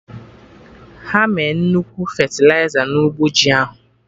Ha me nnukwu fetịliza na ụgbọ ji ahụ